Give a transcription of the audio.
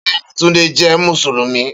Beeni Tunde je Musulumi.